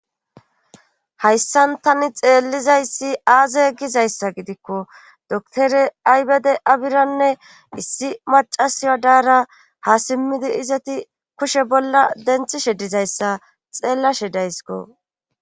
Hayssan tani xeellizayssi aaze gizayssa gidikko dotore aybede abiranne issi macasiya daara ha simmidi izati kushe bolla denthishe dizayssa xeellashe daysko.